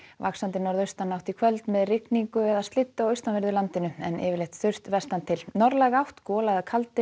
vaxandi norðaustanátt í kvöld með rigningu eða slyddu á austan verðu landinu en yfirleitt þurrt vestan til norðlæg átt gola eða kaldi